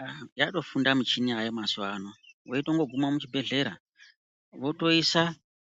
Aa yatofunda michini yayo mazuva ano veitongo guma muchibhedhlera. Votoisa